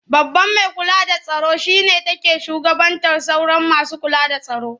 Babban mai kula da tsaro shi ne take shugabantar sauran masu kula da tsaro.